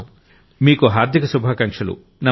నరేంద్రమోడీ మీకు హార్థిక శుభాకాంక్షలు